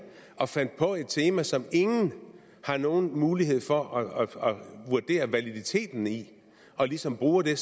og fandt på et tema som ingen har nogen mulighed for at vurdere validiteten af og ligesom bruger det